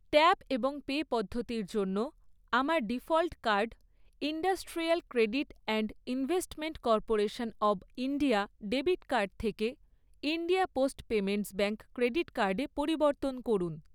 Tap এবং pay পদ্ধতির জন্য আমার default card industrial credit and investment corporation of India debit card থেকে India post payments bank credit কার্ডে পরিবর্তন করুন।